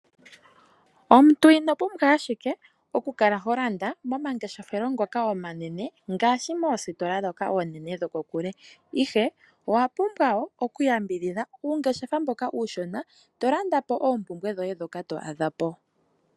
Omuntu ino pumbwa ashike okukala ho landa momangeshefelo ngoka omanene ngaashi moositola ndhoka oonene dhokokule ashike owa pumbwa woo okuyambidhidha uungeshefa mboka uushona to landa po oompumbwe dhoye ndhoka to adha po.